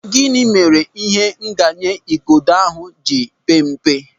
Gịnị mere ihe nganye igodo ahụ ji pempe?